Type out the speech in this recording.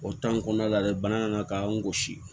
O kɔnɔna la dɛ bana nana ka an gosi